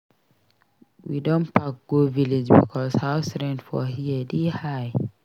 We don pack go village because house rent for here dey high.